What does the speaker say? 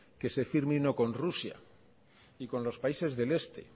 que se firme uno con rusia y con los países del este